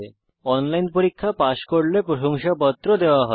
যারা অনলাইন পরীক্ষা পাস করে তাদের প্রশংসাপত্র দেয়